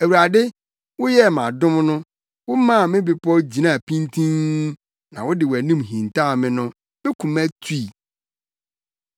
Awurade, woyɛɛ me adom no womaa me bepɔw gyinaa pintinn na wode wʼanim hintaw me no, me koma tui.